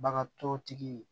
Bagan tɔtigi